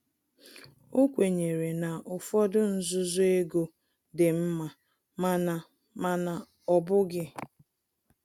O kwenyere na ụfọdụ nzuzo ego dị nma, mana mana ọ bụghị